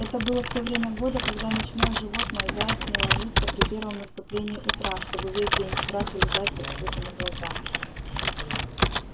это было в то время года когда ночное животное заяц не ложится при первом наступлении утра чтобы весь день в страхе лежать с открытыми глазами